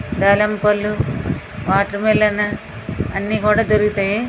దానిమ పండ్లు watermelon అని దొరుకుతాయి.